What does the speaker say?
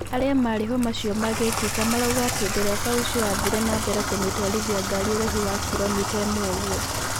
Aria mari hau macio magiikeka marauga ati ndereba ucio athire nambere kumitwarithia ngarĩ uraihu wa kilomita imwe oguo.